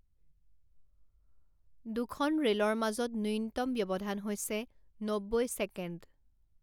দুখন ৰে'লৰ মাজৰ ন্যূনতম ব্যৱধান হৈছে নব্বৈ ছেকেণ্ড।